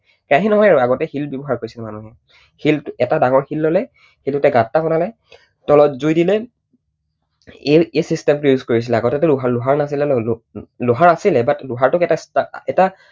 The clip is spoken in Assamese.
কেৰাহী নহয় আৰু আগতে শিল ব্যৱহাৰ কৰিছিল মানুহে। এটা ডাঙৰ শিল ললে, সেইটোতে গাঁত এটা বনালে, তলত জুই দিলে, এই system টো use কৰিছিলে। আগতেটো লোহাৰ নাছিলে ন। লোহাৰ আছিলে but লোহাৰ টোক এটা